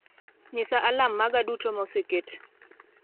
nyisa alarm maga duto ma oseket